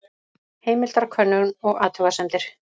Heimildakönnun og athugasemdir.